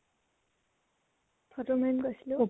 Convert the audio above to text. photo মাৰিম কৈছিলো